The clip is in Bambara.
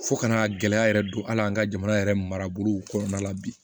Fo kana gɛlɛya yɛrɛ don hali an ka jamana yɛrɛ maraburuw kɔnɔna la bi